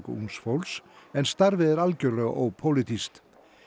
ungs fólks en starfið er algjörlega ópólitískt